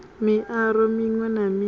miaro miṅwe na miṅwe yo